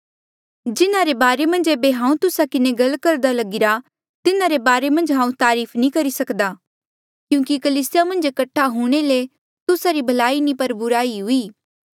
जिन्हारे बारे मन्झ ऐबे हांऊँ तुस्सा किन्हें गल करदा लगिरा तिन्हारे बारे मन्झ हांऊँ तारीफ नी करी सकदा क्यूंकि कलीसिया मन्झ कठ्ठा हूंणे ले तुस्सा री भलाई नी पर बुराई ही हुई